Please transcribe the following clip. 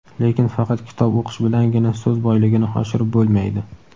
Lekin faqat kitob o‘qish bilangina so‘z boyligini oshirib bo‘lmaydi.